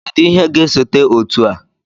Kedụ ihe ga-esote otu a?